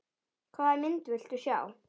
Hvaða mynd viltu sjá?